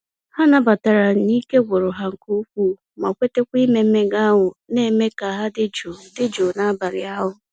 Ha nabatara n'ike gwụrụ ha nke ukwuu, ma kweta ime mmega ahụ na-eme ka ha dị jụụ dị jụụ n'abalị ahụ.